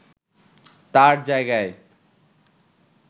তার জায়গায়